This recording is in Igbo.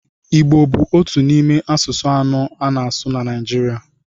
Igbo bụ otu n'ime asụsụ anọ a na-asụ na Naịjirịa.